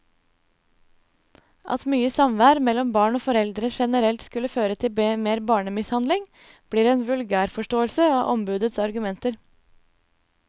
At mye samvær mellom barn og foreldre generelt skulle føre til mer barnemishandling, blir en vulgærforståelse av ombudets argumenter.